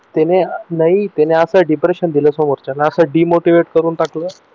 त्याने नाही त्यानं असं depression दिल समोरच्याला असं demotivate करून टाकलं